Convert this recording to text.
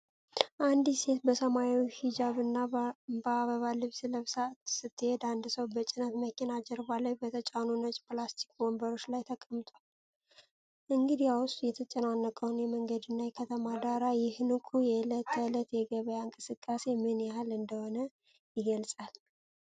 አንዲት ሴት በሰማያዊ ሂጃብና በአበባ ልብስ ለብሳ ስትሄድ፣ አንድ ሰው በጭነት መኪና ጀርባ ላይ በተጫኑ ነጭ ፕላስቲክ ወንበሮች ላይ ተቀምጧል፤ እንግዲያው፣ የተጨናነቀው የመንገድና የከተማ ዳራ ይህ ንቁ የዕለት ተዕለት የገበያ እንቅስቃሴ ምን ያህል እንደሆነ ይገልጻል?